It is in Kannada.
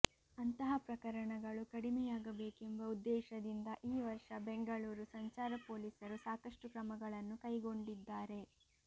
ಅಂತಹ ಪ್ರಕರಣಗಳು ಕಡಿಮೆಯಾಗಬೇಕೆಂಬ ಉದ್ದೇಶದಿಂದ ಈ ವರ್ಷ ಬೆಂಗಳೂರು ಸಂಚಾರ ಪೊಲೀಸರು ಸಾಕಷ್ಟು ಕ್ರಮಗಳನ್ನು ಕೈಗೊಂಡಿದ್ದಾರೆ